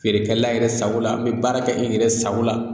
Feerekɛla yɛrɛ sago la an be baara kɛ e yɛrɛ sago la